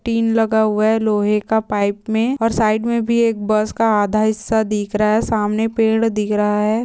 तीन लगा हुआ है लोहे का पाइप में और साइड में भी एक बस का आधा हिस्सा दिख रहा है। सामने पेड़ दिख रहा है।